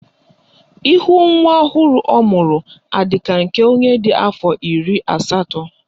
Ihu nwa ọhụrụ ọ mụrụ adị ka nke onye dị afọ iri asatọ?